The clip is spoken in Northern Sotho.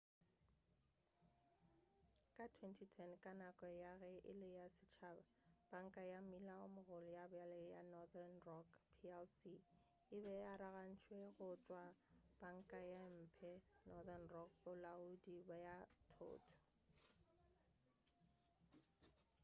ka 2010 ka nako ya ge e le ya setšhaba panka ya mmila o mogolo ya bjale ya northern rock plc e be e arogantšwe go tšwa go 'panka ye mphe' northern rock bolaodi bja thoto